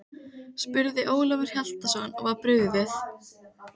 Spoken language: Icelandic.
spurði Ólafur Hjaltason og var brugðið.